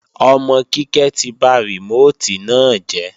Ọmọ Kíkẹ́ ti ba rìmóòtì náà jẹ́